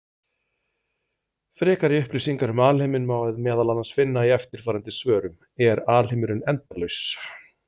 Frekari upplýsingar um alheiminn má meðal annars finna í eftirfarandi svörum: Er alheimurinn endalaus?